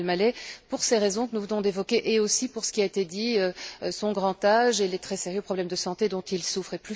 Haytham Al Maleh pour ces raisons que nous venons d'évoquer et aussi pour ce qui a été dit, son grand âge et les très sérieux problèmes de santé dont il souffre.